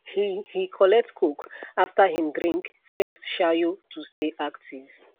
he he collect coke after him drink first shayo to stay active